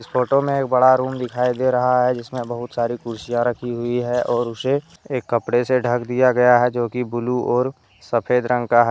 Photo में एक बड़ा रूम दिखाई दे रहा है जिसमें बहुत सारी कुर्सिया रखी हुई है और उसे एक कपड़े से ढक दिया गया है जोकि ब्लू और सफेद रंग का है ।